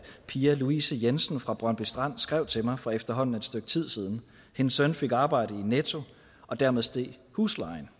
pia louise jensen fra brøndby strand skrev til mig for efterhånden et stykke tid siden hendes søn fik arbejde i netto og dermed steg huslejen